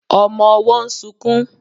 Ọmọ ọwọ́ ń sunkún